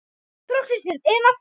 Þóra Kristín: En af hverju?